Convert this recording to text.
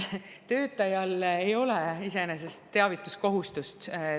Töötajal ei ole iseenesest teavituskohustust.